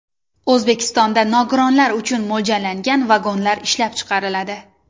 O‘zbekistonda nogironlar uchun mo‘ljallangan vagonlar ishlab chiqariladi.